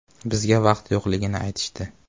Bizga vaqt yo‘qligini aytishdi.